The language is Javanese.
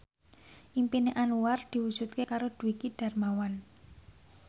impine Anwar diwujudke karo Dwiki Darmawan